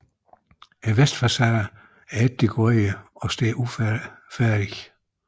Vestfacaden er ikke dekoreret og står ufærdig